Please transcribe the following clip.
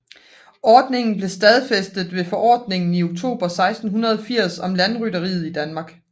Ordningen blev stadfæstet ved Forordningen i oktober 1680 om landrytteriet i Danmark